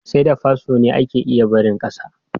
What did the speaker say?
Sai da fasfo ne ake iya barin ƙasa.